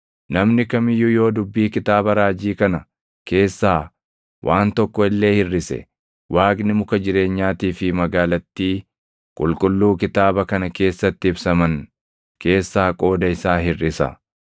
Namni kam iyyuu yoo dubbii kitaaba raajii kana keessaa waan tokko illee hirʼise, Waaqni muka jireenyaatii fi magaalattii qulqulluu kitaaba kana keessatti ibsaman keessaa qooda isaa hirʼisa.